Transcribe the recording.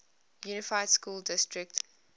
unified school district